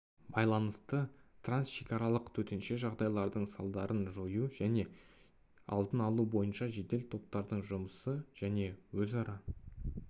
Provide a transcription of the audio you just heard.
байланысты трансшекаралық төтенше жағдайлардың салдарын жою және алдын алу бойынша жедел топтардың жұмысы және өзара